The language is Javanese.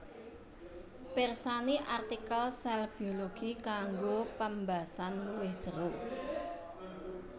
Pirsani artikel sèl biologi kanggo pembasan luwih jero